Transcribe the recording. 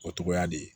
O cogoya de ye